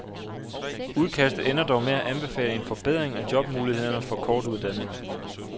Udkastet ender dog med at anbefale en forbedring af jobmulighederne for kortuddannede.